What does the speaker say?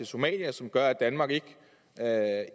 somalia som gør at danmark ikke